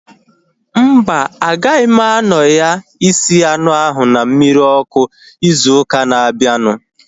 Mba, agaghị m anọ ya isi anụ ahu na mmiri ọkụ ịzụ ụka na abianu